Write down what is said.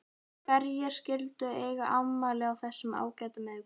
Hverjir skyldu eiga afmæli á þessum ágæta miðvikudegi?